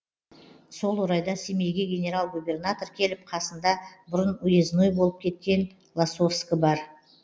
сол орайда семейге генерал губернатор келіп қасында бұрын уезной болып кеткен лосовскі бар